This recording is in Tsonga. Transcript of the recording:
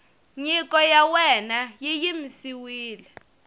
nyiko ya wena yi yimisiwile